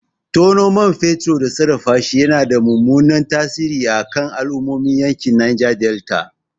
Tono man fetur da sarrafashi yana da mummunan tasiri a kan al'ummomin yankin Neja Delta.